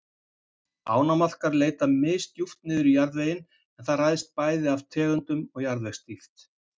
Ánamaðkar leita misdjúpt niður í jarðveginn en það ræðst bæði af tegundum og jarðvegsdýpt.